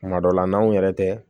Kuma dɔ la n'anw yɛrɛ tɛ